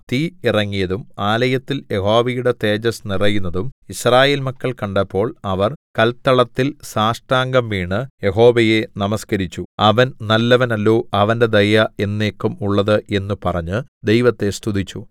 തീ ഇറങ്ങിയതും ആലയത്തിൽ യഹോവയുടെ തേജസ്സ് നിറയുന്നതും യിസ്രായേൽ മക്കൾ കണ്ടപ്പോൾ അവർ കൽത്തളത്തിൽ സാഷ്ടാംഗം വീണ് യഹോവയെ നമസ്കരിച്ചു അവൻ നല്ലവൻ അല്ലോ അവന്റെ ദയ എന്നേക്കും ഉള്ളത് എന്നു പറഞ്ഞ് ദൈവത്തെ സ്തുതിച്ചു